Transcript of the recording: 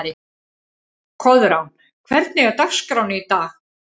Koðrán, hvernig er dagskráin í dag?